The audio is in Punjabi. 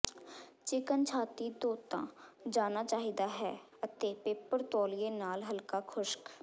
ਚਿਕਨ ਛਾਤੀ ਧੋਤਾ ਜਾਣਾ ਚਾਹੀਦਾ ਹੈ ਅਤੇ ਪੇਪਰ ਤੌਲੀਏ ਨਾਲ ਹਲਕਾ ਖੁਸ਼ਕ